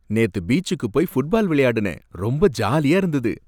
நேத்து பீச்சுக்கு போய் ஃபுட்பால் விளையாடுனேன். ரொம்ப ஜாலியா இருந்தது